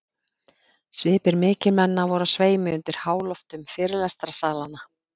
Svipir mikilmenna voru á sveimi undir háloftum fyrirlestrarsalanna.